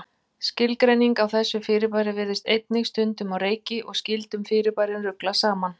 Skilgreiningin á þessu fyrirbæri virðist einnig stundum á reiki og skyldum fyrirbærum ruglað saman.